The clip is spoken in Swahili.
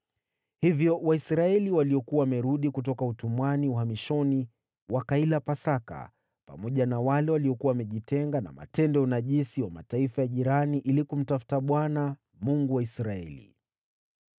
Hivyo Waisraeli waliokuwa wamerudi kutoka utumwani uhamishoni wakaila Pasaka, pamoja na wale waliokuwa wamejitenga na matendo ya unajisi wa Mataifa ya jirani ili kumtafuta Bwana , Mungu wa Israeli.